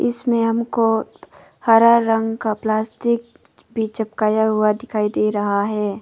इसमें हमको हरा रंग का प्लास्टिक भी चिपकाया हुआ दिखाई दे रहा है।